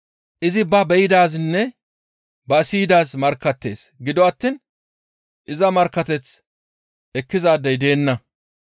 Izi ba be7idaazinne ba siyidaaz markkattees; gido attiin iza markkateth ekkizaadey deenna.